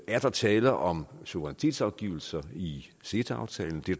er der tale om suverænitetsafgivelse i ceta aftalen det